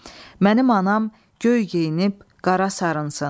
Mənim anam göy geyinib qara sarınsın.